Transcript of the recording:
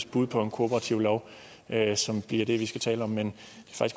bud på en kooperativ lov som bliver det vi taler om men